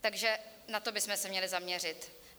Takže na to bychom se měli zaměřit.